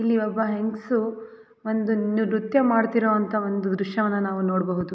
ಇಲ್ಲಿ ಒಬ್ಬ ಹೆಂಗ್ಸು ಒಂದು ನೃ ನೃತ್ಯ ಮಾಡುತ್ತಿರುವಂತಹ ಒಂದು ದೃಶ್ಯವನ್ನ ನಾವು ನೋಡಬಹುದು.